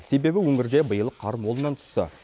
себебі өңірде биыл қар молынан түсті